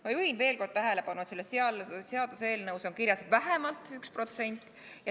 Ma juhin veel kord tähelepanu, et selles seaduseelnõus on kirjas "vähemalt 1%".